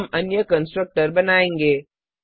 अब हम अन्य कंस्ट्रक्टर बनायेंगे